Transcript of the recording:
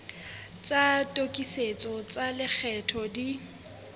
tsa tokisetso tsa lekgetho di